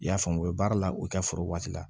I y'a faamu u bɛ baara la u ka foro waati la